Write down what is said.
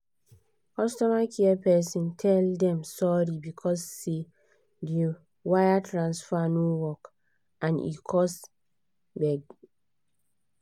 customer care person tell dem sorry because say the wire transfer no work and e cause gbege